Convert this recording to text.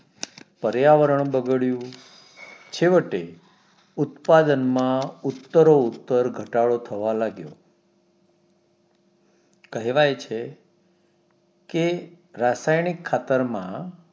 પર્યાવરણ બગડ્યું છેવટે ઉત્પાદન માં ઉત્તરો ઉત્તર ઘટાડો થવા લાગ્યો કહેવાય છે કે રાસાયણિક ખાતર માં